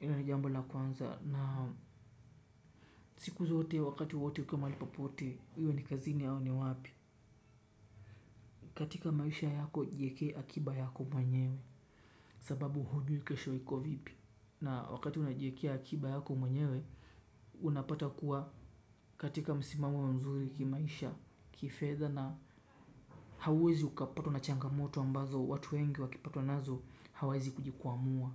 Ndilo jambo la kwanza na siku zote wakati wowote ukiwa mahali popote iwe ni kazini au ni wapi. Katika maisha yako jiekee akiba yako mwenyewe. Sababu hujui kesho iko vipi. Na wakati unajiekea akiba yako mwenyewe, unapata kuwa katika msimamo mzuri kimaisha kifedha na hauwezi ukapatwa na changamoto ambazo watu wengi wakipatwa nazo hawezi kujikwamua.